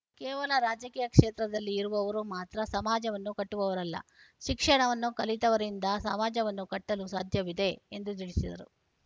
ಕೇವಲ ರಾಜಕೀಯ ಕ್ಷೇತ್ರದಲ್ಲಿ ಇರುವವರು ಮಾತ್ರ ಸಮಾಜವನ್ನು ಕಟ್ಟುವವರಲ್ಲ ಶಿಕ್ಷಣವನ್ನು ಕಲಿತವರಿಂದ ಸಮಾಜವನ್ನು ಕಟ್ಟಲು ಸಾಧ್ಯವಿದೆ ಎಂದು ತಿಳಿಸಿದರು